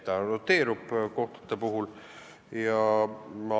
See roteerub kohtunike puhul.